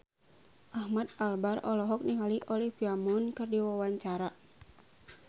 Ahmad Albar olohok ningali Olivia Munn keur diwawancara